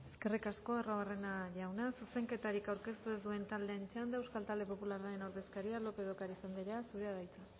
eskerrik asko arruabarrena jauna zuzenketarik aurkeztu ez duen taldeen txanda euskal talde popularraren ordezkaria lópez de ocariz andrea zurea da hitza